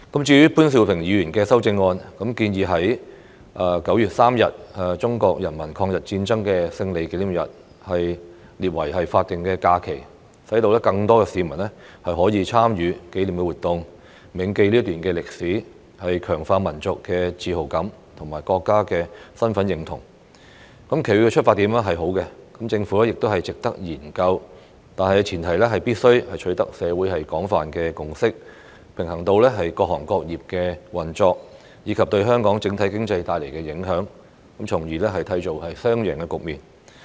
至於潘兆平議員的修正案建議將9月3日中國人民抗日戰爭勝利紀念日列為法定假期，讓更多市民可以參與紀念活動，銘記這段歷史，強化民族自豪感及國民身份認同，其出發點是好的，值得政府研究，但前提是必須取得社會的廣泛共識，平衡到各行各業的運作，以及對香港整體經濟帶來的影響，從而締造雙贏局面。